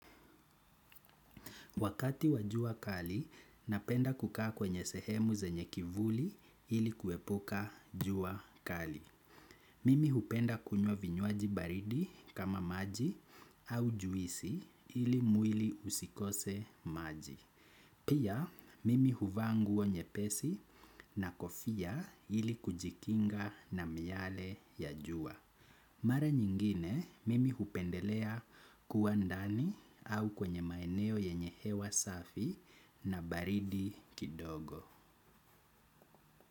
Wakati wajua kali, napenda kukaa kwenye sehemu zenye kivuli ili kuepuka jua kali. Mimi hupenda kunywa vinywaji baridi kama maji au juisi ili mwili usikose maji. Pia, mimi huvaa nguo nye pesi na kofia ili kujikinga na miyale ya jua. Mara nyingine mimi hupendelea kuwa ndani au kwenye maeneo yenye hewa safi na baridi kidogo.